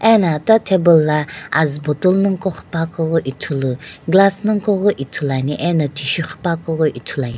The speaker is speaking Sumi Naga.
ano eta table la azu bottle nagho ko kghila keu ithulu ane glass ithulu ane.